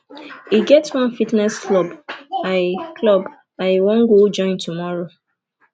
e get one fitness club i club i wan go join tomorrow